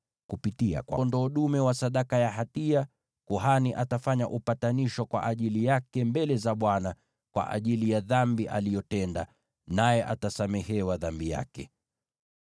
Kupitia kwa huyo kondoo dume wa sadaka ya hatia, kuhani atafanya upatanisho kwa ajili yake mbele za Bwana kwa ajili ya dhambi aliyotenda, naye atasamehewa dhambi yake.